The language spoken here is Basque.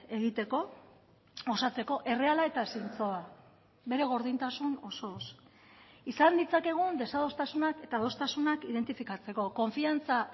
egiteko osatzeko erreala eta zintzoa bere gordintasun osoz izan ditzakegun desadostasunak eta adostasunak identifikatzeko konfiantza